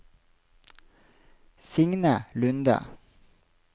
Signe Lunde